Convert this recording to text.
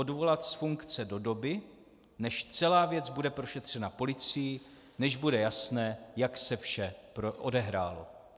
Odvolat z funkce do doby, než celá věc bude prošetřena policií, než bude jasné, jak se vše odehrálo.